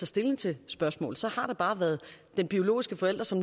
stilling til spørgsmålet så har der bare været den biologiske forælder som